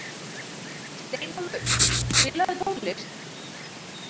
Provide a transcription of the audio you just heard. Steinólfur, spilaðu tónlist.